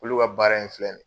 Olu ka baara in filɛ nin ye